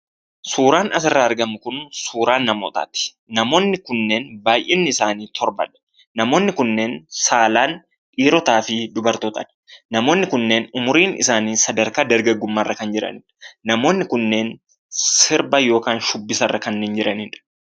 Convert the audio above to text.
Suuraan asirraa argamu kun suuraa namootaati. Namoonni kunneen baay'inni isaanii torbadha. Namoonni kunneen saalaan dhiirotaa fi dubartootadha. Namoonni kunneen umriin isaanii sadarkaa dargaggummaarra kanneen jiraniidha. Namoonni kunneen sirba yookiin shubbisarra kanneen jiranidha.